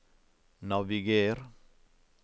naviger